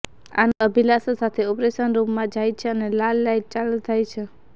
આનંદ અભિલાષા સાથે ઓપરેશન રૂમમાં જાય છે અને લાલ લાઈટ ચાલુ થાય છે